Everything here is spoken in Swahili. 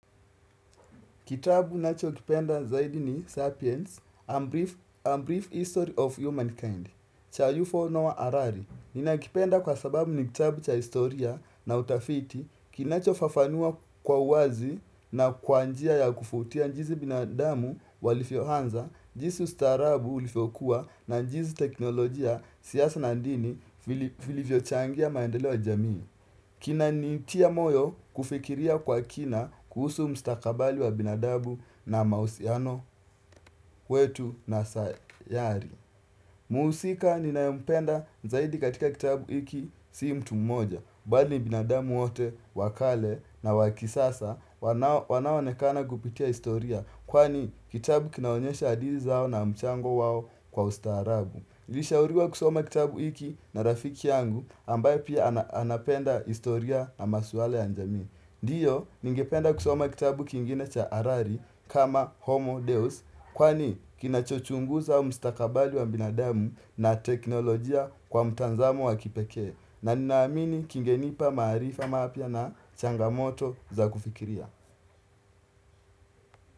Kitabu nacho kipenda zaidi ni Sapiens, A Brief History of Humankind, cha UFO no Arari. Nina kipenda kwa sababu ni kitabu cha historia na utafiti, kinacho fafanua kwa uwazi na kwa njia ya kufutia jinsi binadamu walivyo anza, jinsi ustaharabu ulivyo kuwa na njisi teknolojia siasa na dini vilivyo changia maendeleo ya jamii. Kina ni tia moyo kufikiria kwa kina kuhusu mstakabali wa binadabu na mahusiano wetu na sayari Mhusika ni naye mpenda zaidi katika kitabu hiki sii mtu mmoja Bali ni binadabu wote wakale na wa kisasa wanaoonekana kupitia historia Kwani kitabu kinaonyesha hadithi zao na mchango wao kwa ustaharabu nilishauriwa kusoma kitabu hiki na rafiki yangu ambaye pia anapenda historia na maswala ya jamii. Ndio, ningependa kusoma kitabu kingine cha Arari kama Homo Deus, kwani kinachochunguza mustakabali wa binadamu na teknolojia kwa mtazamo wa kipekee. Na ninaamini kingenipa maarifa mapya na changamoto za kufikiria.